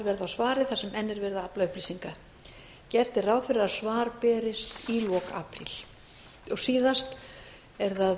verða á svari þar sem enn er verið að afla upplýsinga gert er ráð fyrir að svar berist í lok